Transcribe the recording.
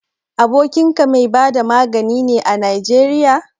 Abokinka mai bada magani ne a Najeriya?